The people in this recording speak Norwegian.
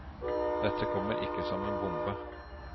Dette kommer ikke som en bombe.